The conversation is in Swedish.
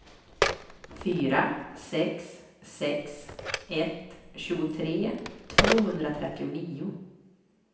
fyra sex sex ett tjugotre tvåhundratrettionio